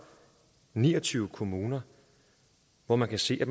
ni og tyve kommuner hvor man kan se at